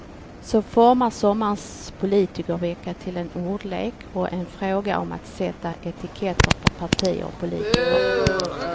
Så formas sommarens politikervecka till en ordlek och en fråga om att sätta etiketter på partier och politiker.